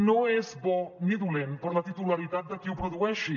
no és bo ni dolent per a la titularitat de qui ho produeixi